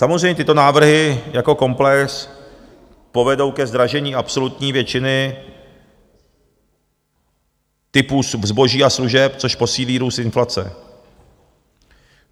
Samozřejmě tyto návrhy jako komplex povedou ke zdražení absolutní většiny typu zboží a služeb, což posílí růst inflace.